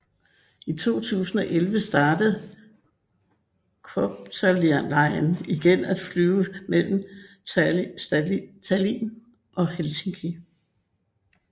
I 2011 startede Copterline igen at flyve mellem Tallin og Helsinki